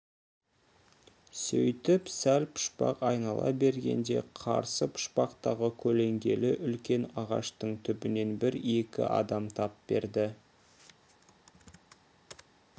сөйтіп сәл пұшпақ айнала бергенде қарсы пұшпақтағы көлеңкелі үлкен ағаштың түбінен бір-екі адам тап берді